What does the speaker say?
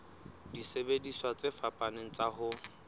disebediswa tse fapaneng tsa ho